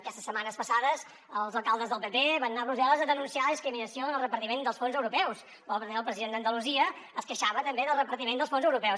aquestes setmanes passades els alcaldes del pp van anar a brussel·les a denunciar la discriminació en el repartiment dels fons europeus i el president d’andalusia es queixava també del repartiment dels fons europeus